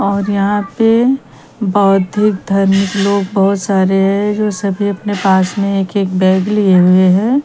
और यहाँ पे बौद्धिक धर्म लोग बहुत सारे है जो सभी आपने पास में एक एक बैग लिए हुए है।